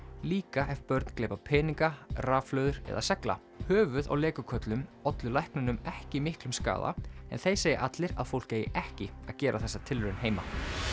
líka ef börn gleypa peninga rafhlöður eða segla höfuð á Lego köllum ollu læknunum ekki miklum skaða en þeir segja allir að fólk eigi ekki að gera þessa tilraun heima